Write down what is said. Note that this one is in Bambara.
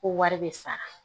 Ko wari bɛ sara